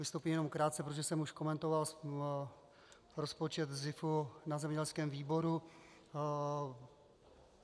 Vystoupím jenom krátce, protože jsem už komentoval rozpočet SZIF na zemědělském výboru.